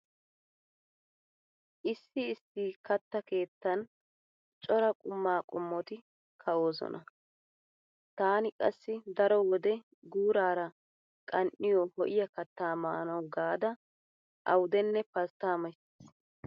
Issi issi katta keettan cora quma qommoti ka'oosona. Taani qassi daro wode guuraara qan"iya ho'iya kattaa maanawu gaada awudenne pasttaa mays.